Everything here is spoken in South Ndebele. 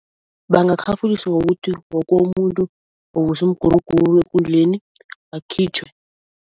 Bangakhafuliswa kukuthi woke umuntu ovusa umguruguru ngekundleni akhitjhwe.